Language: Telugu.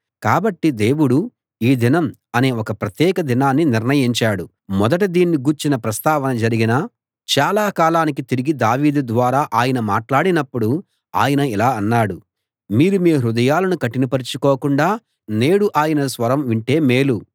కాబట్టి దేవుడు ఈ దినం అనే ఒక ప్రత్యేక దినాన్ని నిర్ణయించాడు మొదట దీన్ని గూర్చిన ప్రస్తావన జరిగిన చాలా కాలానికి తిరిగి దావీదు ద్వారా ఆయన మాట్లాడినప్పుడు ఆయన ఇలా అన్నాడు మీరు మీ హృదయాలను కఠినపరచుకోకుండా నేడు ఆయన స్వరం వింటే మేలు